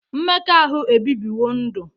Mmekọahụ ebibiwo ndụ.